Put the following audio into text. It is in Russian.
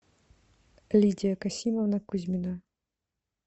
лидия касимовна кузьмина